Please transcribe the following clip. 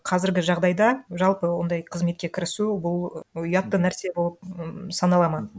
қазіргі жағдайда жалпы ондай қызметке кірісу бұл ұятты нәрсе болып м саналады ма